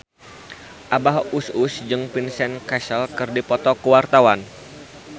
Abah Us Us jeung Vincent Cassel keur dipoto ku wartawan